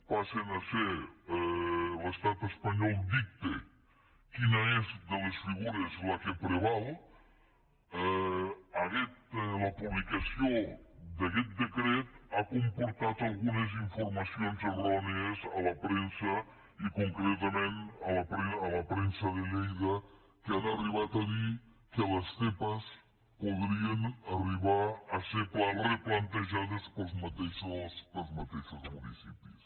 l’estat espanyol dicta quina és de les figures la que preval la publicació d’aquest decret ha comportat algunes informacions errònies a la premsa i concretament a la premsa de lleida que han arribat a dir que les zepa podrien arribar a ser replantejades pels mateixos municipis